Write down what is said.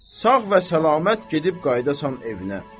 Sağ və salamat gedib qayıdasan evinə.